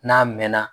N'a mɛnna